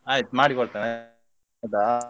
ಆಯ್ತು ಮಾಡಿ ಕೊಡ್ತೇನೆ ಆಯ್ತಾ?